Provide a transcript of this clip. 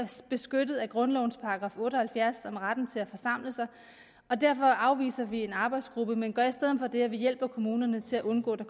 beskyttet af grundlovens § otte og halvfjerds om retten til at forsamle sig og derfor afviser vi en arbejdsgruppe men gør i stedet det at vi hjælper kommunerne til at undgå